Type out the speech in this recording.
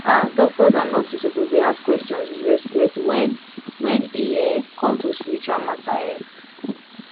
ah doctors and nurses suppose dey ask questions with respect wen wen e um come to spiritual matter um